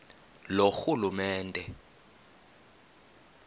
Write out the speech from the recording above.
loorhulumente